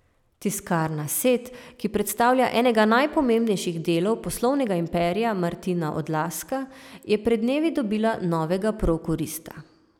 Tiskarna Set, ki predstavlja enega najpomembnejših delov poslovnega imperija Martina Odlazka, je pred dnevi dobila novega prokurista.